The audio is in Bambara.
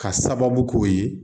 Ka sababu k'o ye